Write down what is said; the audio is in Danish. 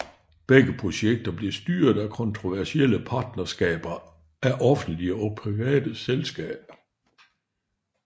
Begge projekter bliver styret af kontroversielle partnerskaber af offentlige og private selskaer